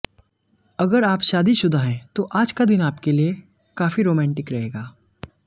अगर आप शादीशुदा हैं तो आज का दिन आपके लिए काफी रोमांटिक रहेगा